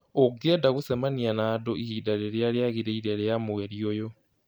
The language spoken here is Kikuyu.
Ũngĩenda gũcemania na andũ ihinda rĩrĩa rĩagĩrĩire rĩa mweri ũyũ